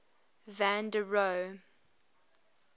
van der rohe